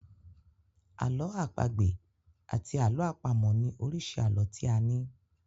Àlọ́ àpagbè àti àlọ́ àpamọ̀ ni oríṣi àlọ́ tí a ní.